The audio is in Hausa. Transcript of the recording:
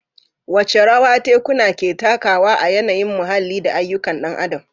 Wace rawa tekuna ke takawa a yanayin muhalli da ayyukan ɗan adam?